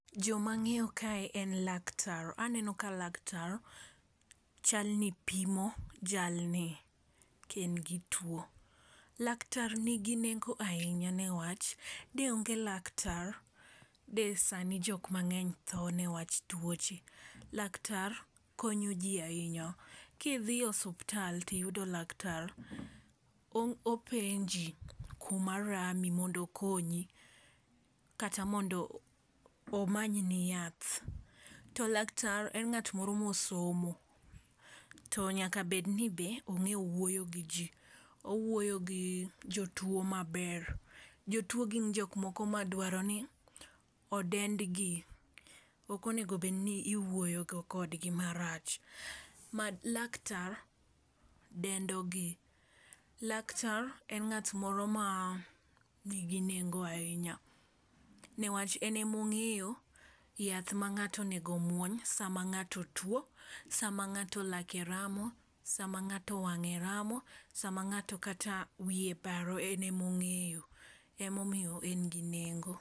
Jomang'eyo ka en laktar aneno ka laktar chalni pimo jalni ka en gi tuo. Laktar nigi nengo ahinya newach de onge laktar de sani jok mang'eny tho ne wach tuoche. Laktar konyo ji ahinya kidhi e osiptal tiyudo laktar openji kuma rami mondo okonyi kata mondo omanyni yath . To laktar en ng'at moro mosomo to nyaka bed ni be ong'e wuoyo gi jii owuoyo gi jotuo maber. Jotuo gin jok moko madwaro ni odendgi , okonego bed gi iwuoyo kodgi marach ma laktar dendo gi .Laktar en ng'at moro ma nigi nengo ahinya newach ene mong'eyo yath ma ng'ato onego muony sama ng'ato tuo sama ng'ato lake ramo, sama ngato wamng'e ramo sama ng'ato kata wiye baro en e mong'eyo, emomiyo en gi nengo.